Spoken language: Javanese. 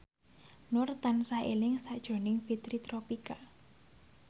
Nur tansah eling sakjroning Fitri Tropika